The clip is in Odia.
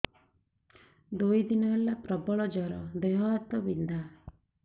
ଦୁଇ ଦିନ ହେଲା ପ୍ରବଳ ଜର ଦେହ ହାତ ବିନ୍ଧା